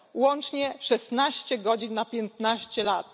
Łącznie 16 godzin w ciągu 15 lat.